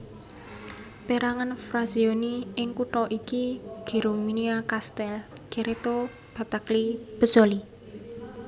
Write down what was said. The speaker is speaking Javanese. Pérangan frazioni ing kutha iki Geromina Castel Cerreto Battaglie Pezzoli